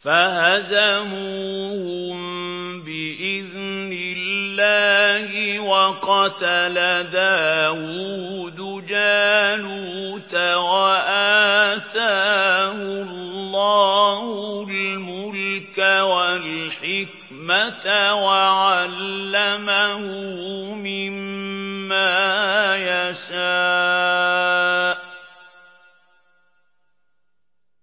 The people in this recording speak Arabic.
فَهَزَمُوهُم بِإِذْنِ اللَّهِ وَقَتَلَ دَاوُودُ جَالُوتَ وَآتَاهُ اللَّهُ الْمُلْكَ وَالْحِكْمَةَ وَعَلَّمَهُ مِمَّا يَشَاءُ ۗ